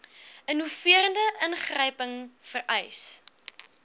innoverende ingryping vereis